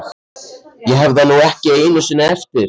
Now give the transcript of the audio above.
Ég hef það nú ekki einu sinni eftir